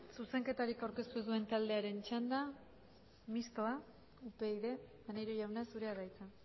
zuzenketarik aurkeztu ez duen taldearen txanda mistoa upyd maneiro jauna zurea da hitza